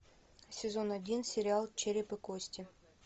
сезон один сериал череп и кости